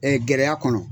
gɛlɛya kɔnɔ